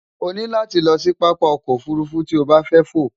o ní láti lo̩ sí pápá o̩kò̩ ofùrufú tí o bá fé̩ fò.